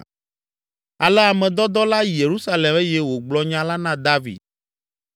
Ale ame dɔdɔ la yi Yerusalem eye wògblɔ nya la na David.